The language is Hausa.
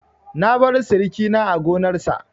Na baro sirikina a gonarsa.